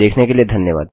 देखने के लिए धन्यवाद